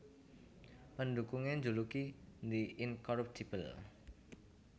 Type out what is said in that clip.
Pendhukungé njuluki The Incorruptible